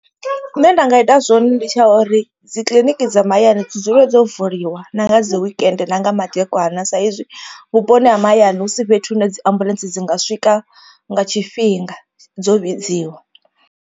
Zwine nda nga ita zwone ndi tsha uri dzikiḽiniki dza mahayani dzi dzule dzo vuliwa na nga dzi wekende na nga madekwana. Sa izwi vhuponi ha mahayani hu si fhethu hune dzi ambuḽentse dzi nga swika nga tshifhinga dzo vhidziwa.